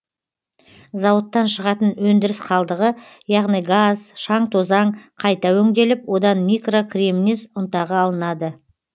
зауыттан шығатын өндіріс қалдығы яғни газ шаң тозаң қайта өңделіп одан микрокремнез ұнтағы алынады